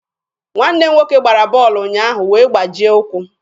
Nwanne m nwoke gbara bọọlụ ụnyaahụ wee gbajie ụkwụ.